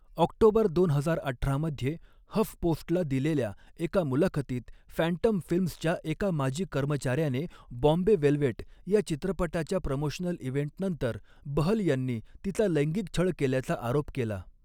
October दोन हजार अठरा मध्ये, हफपोस्टला दिलेल्या एका मुलाखतीत फॅन्टम फिल्म्सच्या एका माजी कर्मचाऱ्याने 'बॉम्बे वेलवेट' या चित्रपटाच्या प्रमोशनल इव्हेंटनंतर बहल यांनी तिचा लैंगिक छळ केल्याचा आरोप केला.